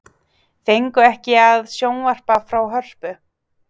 Fengu ekki að sjónvarpa frá Hörpu